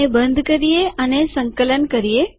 આને બંધ કરીએ અને સંકલન કરીએ